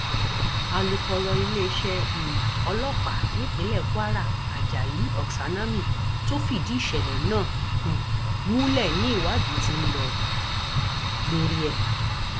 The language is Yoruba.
alūkọrọ iléeṣẹ um ọlọpàá nípínlẹ kwara ajayi oksanami tó fìdí ìṣẹlẹ náà um múlẹ ni ìwádì ti ń lọ lórí ẹ